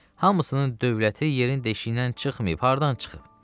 Hamısının dövləti yerin deşiyindən çıxmayıb, hardan çıxıb?